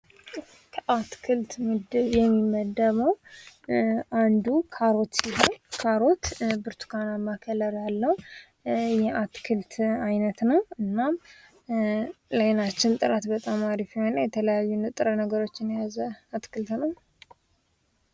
ከአትክልት ምዲብ የሚመደበው አንዱ ካሮት ሲሆን ብርቱካናማ ቀለም ያለው የአትክልት አይነት ነው ለአይናችን ጥራት ጥሩ የሆነና የተለያዩ ንጥረ ነገሮችን የያዘ ነው።